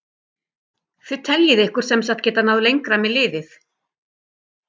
Þið teljið ykkur sem sagt geta náð lengra með liðið?